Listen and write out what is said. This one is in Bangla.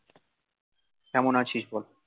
কেমন আছিস বল